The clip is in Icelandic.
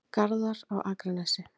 Garðar á Akranesi.